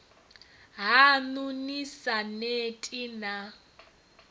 haṋu ni sa neti na